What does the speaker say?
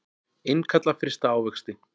Innkalla frysta ávexti